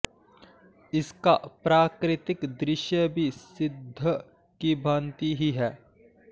इसका प्राकृतिक दृश्य भी सिद्व की भांति ही है